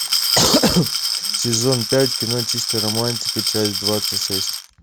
сезон пять кино чистая романтика часть двадцать шесть